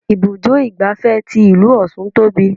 Ibùdó igbàfẹ́ tí ìlú ọ̀ṣun tóbi.